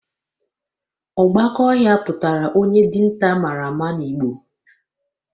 Ogbaka ohia putara onye dinta amara ma na igbo